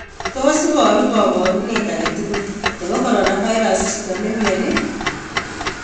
Tos iporu kaporuneet age tugul nepo coronavirus chito nemyonii?